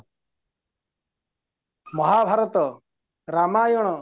Mahabharata Ramayana